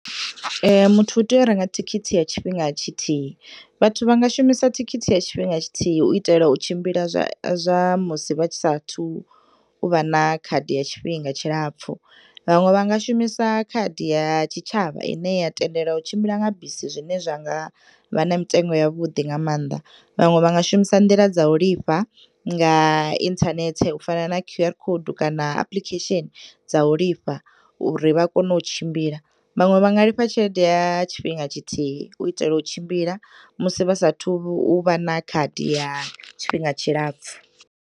Muthu u teya u renga thikhithi ya tshifhinga tshithihi. Vhathu vha nga shumisa thikhithi ya tshifhinga tshithihi u itela u tshimbila zwa, zwa musi vha sathu uvha na khadi ya tshifhinga tshi lapfu. Vhaṅwe vha nga shumisa khadi ya tshitshavha ine ya tendela u tshimbila nga bisi zwine zwa nga vha na mitengo ya vhuḓi nga maanḓa. Vhaṅwe vha nga shumisa nḓila dza u lifha nga internet u fana na QR code kana applications dza u lifha uri vha kone u tshimbila. Vhaṅwe vha nga lifha tshelede ya tshifhinga tshithihi u itela u tshimbila musi vha sathu u vha na khadi ya tshifhinga tshilapfu.